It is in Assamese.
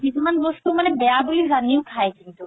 কিছুমান বস্তু বেয়া বুলি যানিও খাই কিন্তু